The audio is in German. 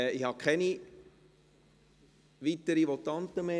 Ich habe keine weiteren Votanten mehr.